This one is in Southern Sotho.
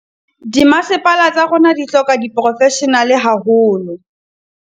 "Dimasepala tsa rona di hloka diporofeshenale haholo."